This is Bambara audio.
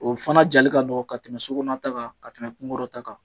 O fana jali ka nɔgɔn ka tɛmɛ so kɔnɔna ta kan, ka tɛmɛ kungorɔ ta kan